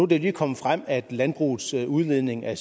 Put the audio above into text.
det lige kommet frem at landbrugets udledning af